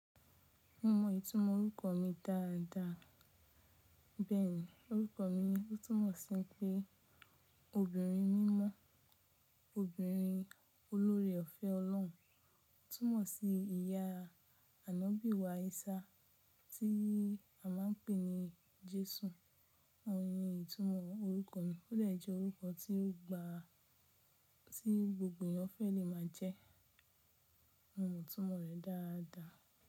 Mo mọ ìtumọ̀ orúkọ mi dáadáa. Bẹ́ẹ̀ni, orúkọ mi túmọ̀ sí pé obìnrin mímọ́, obìnrin olóre ọ̀fẹ́ Ọlọ́run, túmọ̀ sí ìyá Ànọ́bì wá Isa tí a máa ń pè ní Jésù. Ohun ni ìtumọ̀ orúkọ mi, ó dè jẹ́ orúkọ tí gbogbo ènìyàn fẹ́ lè máa jẹ́. Mo mọ ìtumọ̀ rẹ̀ dáadáa.